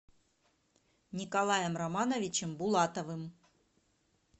николаем романовичем булатовым